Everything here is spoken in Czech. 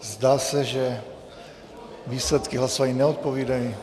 Zdá se, že výsledky hlasování neodpovídají.